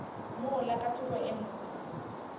mola ka thoko ye nngwe